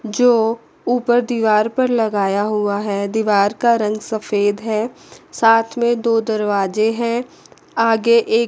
जो ऊपर दीवार पर लगाया हुआ है दीवार का रंग सफेद है साथ में दो दरवाजे हैं आगे एक --